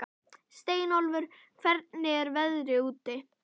Steinólfur, hvernig er veðrið úti?